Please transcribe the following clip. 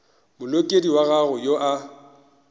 molekodi wa gago yo a